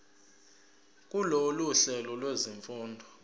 kulolu hlelo lwezifundo